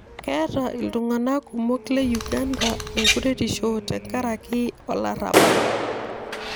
keeta iltung'anak kumok le Uganda ekuretisho tekaraki olarabal